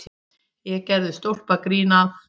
Ég gerði stólpagrín að